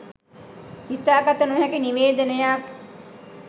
හිතා ගත නොහැකි නිවේදනයක්